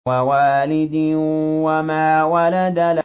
وَوَالِدٍ وَمَا وَلَدَ